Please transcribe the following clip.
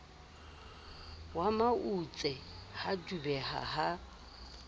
wa mautse ha dubeha ha